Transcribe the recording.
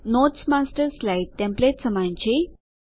notes master slide template સમાન છે